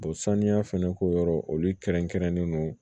saniya fɛnɛ ko yɔrɔ olu kɛrɛnkɛrɛnnen don